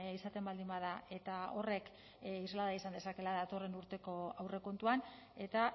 izaten baldin bada eta horrek islada izan dezakeela datorren urteko aurrekontuan eta